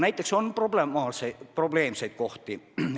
Aga on probleemseid kohti.